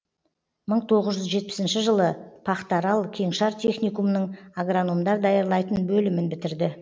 мың тоғыз жүз жетпісінші жылы пахтарал кеңшар техникумының агрономдар даярлайтын бөлімін бітірді